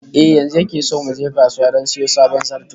Eh, yanzu yake so mu je kasuwa don sayo sabon zarto